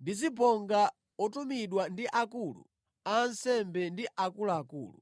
ndi zibonga otumidwa ndi akulu a ansembe ndi akuluakulu.